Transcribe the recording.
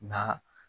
Nka